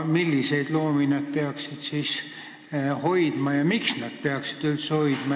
Milliseid loomi see peaks hoidma ja miks üldse peaks hoidma?